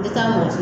I taa mɔgɔ si